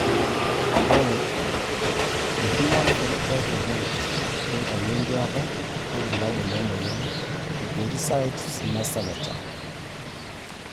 Ore the human phenotype ontology neitayio nduata wobulabul le moyian e perizaeus merzbacher.